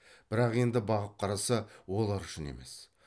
бірақ енді бағып қараса олар үшін емес